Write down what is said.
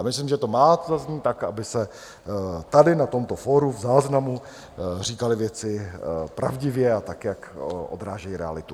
A myslím, že to má zaznít tak, aby se tady na tomto fóru v záznamu říkaly věci pravdivě a tak, jak odrážejí realitu.